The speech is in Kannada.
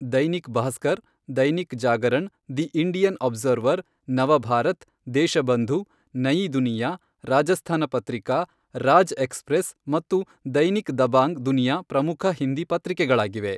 Dainik Bhaskar, Dainik Jagran, The Indian Observer, Nav Bharat, Deshbandhu, Nayi Duniya, Rajasthan Patrika, Raj Express ಮತ್ತು ದೈನಿಕ್ ದಬಾಂಗ್ ದುನಿಯಾ ಪ್ರಮುಖ ಹಿಂದಿ ಪತ್ರಿಕೆಗಳಾಗಿವೆ.